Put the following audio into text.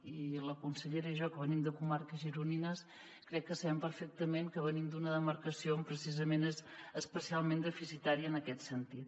i la consellera i jo que venim de comarques gironines crec que sabem perfectament que venim d’una demarcació que precisament és especialment deficitària en aquest sentit